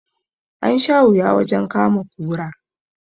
An sha wuya wajen kama kura